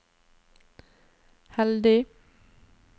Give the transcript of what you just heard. heldig